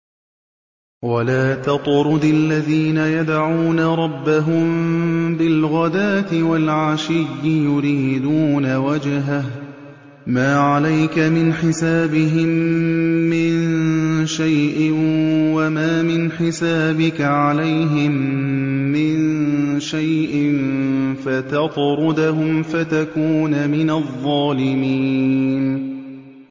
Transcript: وَلَا تَطْرُدِ الَّذِينَ يَدْعُونَ رَبَّهُم بِالْغَدَاةِ وَالْعَشِيِّ يُرِيدُونَ وَجْهَهُ ۖ مَا عَلَيْكَ مِنْ حِسَابِهِم مِّن شَيْءٍ وَمَا مِنْ حِسَابِكَ عَلَيْهِم مِّن شَيْءٍ فَتَطْرُدَهُمْ فَتَكُونَ مِنَ الظَّالِمِينَ